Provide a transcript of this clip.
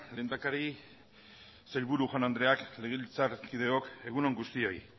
lehendakari sailburu jaun andreak legebiltzarkideok egun on guztioi